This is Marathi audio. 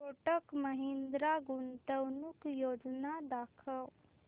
कोटक महिंद्रा गुंतवणूक योजना दाखव